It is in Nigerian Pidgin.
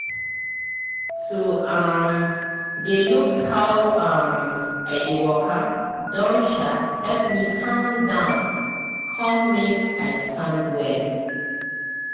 to um dey look how um i dey waka don um help me calm down come make i stand well.